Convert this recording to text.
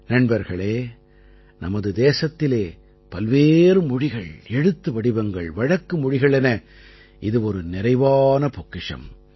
நண்பர்களே நமது தேசத்திலே பல்வேறு மொழிகள் எழுத்து வடிவங்கள் வழக்கு மொழிகள் என இது ஒரு நிறைவான பொக்கிஷம்